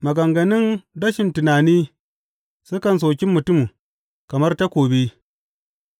Maganganun rashin tunani sukan soki mutum kamar takobi,